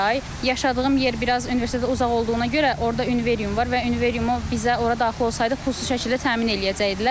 Yaşadığım yer biraz universitetə uzaq olduğuna görə, orda Üniverium var və Üniveriumu bizə ora daxil olsaydıq, pulsuz şəkildə təmin eləyəcəkdilər.